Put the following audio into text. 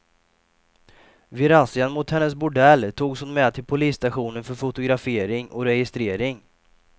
Vid razzian mot hennes bordell togs hon med till polisstationen för fotografering och registrering.